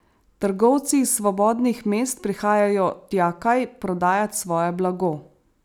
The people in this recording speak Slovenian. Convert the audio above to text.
Trgovci iz svobodnih mest prihajajo tjakaj prodajat svoje blago.